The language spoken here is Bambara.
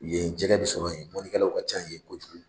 Yen jɛgɛ bɛ sɔrɔ yen mɔninkɛlaw ka ca yen kojugu.